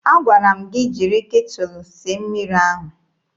Agwara m gị jiri ketụlụ sie mmiri ahụ!